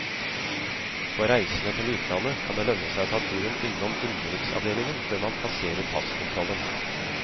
For reisende til utlandet, kan det lønne seg å ta turen innom innenriksavdelingen før man passerer passkontrollen.